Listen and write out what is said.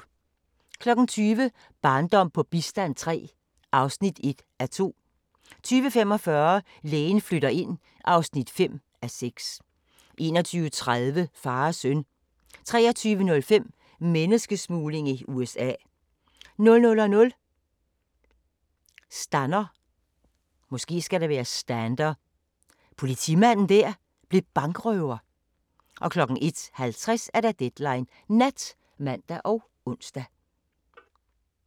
20:00: Barndom på bistand III (1:2) 20:45: Lægen flytter ind (5:6) 21:30: Far og søn 23:05: Menneskesmugling i USA 00:00: Stander – politimanden der blev bankrøver 01:50: Deadline Nat (man og ons)